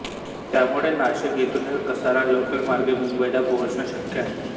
त्यामुळे नाशिक येथुनही कसारा लोकल मार्गे मुंबईला पोहोचणे शक्य आहे